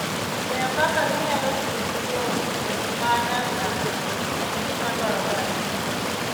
Ng'eyo kaka inyalo tiyo gi yore ma nyasani en gima dwarore ahinya.